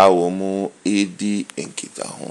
a wɔredi nkitaho.